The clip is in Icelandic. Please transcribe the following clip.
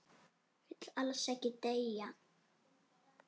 Vill alls ekki deyja.